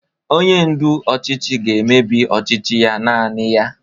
Onye ndu ọchịchị ga-emebi ọchịchị ya naanị ya